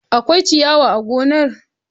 Akwai ciyawa a gonar.